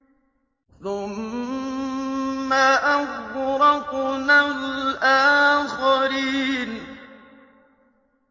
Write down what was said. ثُمَّ أَغْرَقْنَا الْآخَرِينَ